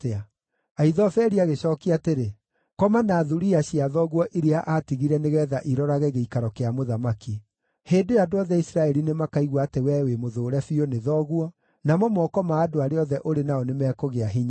Ahithofeli agĩcookia atĩrĩ, “Koma na thuriya cia thoguo iria aatigire nĩgeetha irorage gĩikaro kĩa mũthamaki. Hĩndĩ ĩyo andũ othe a Isiraeli nĩmakaigua atĩ wee wĩmũthũũre biũ nĩ thoguo, namo moko ma andũ arĩa othe ũrĩ nao nĩmekũgĩa hinya.”